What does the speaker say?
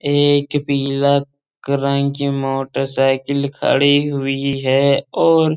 एक पीला की मोटरसाइकिल खड़ी हुई है और --